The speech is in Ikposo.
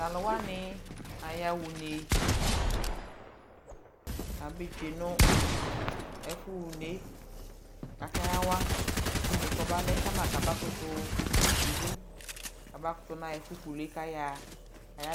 tʋ alʋ wani aya ʋnɛ kʋ abɛ twɛnʋ ɛƒʋ ha ʋnɛ kʋ aka yawa ʋnɛ kʋ ɔba lɛ kama kaba kʋtʋ wi dʋ kʋ abakʋtʋ naa ɛƒʋ kʋlʋɛ kʋ aya ..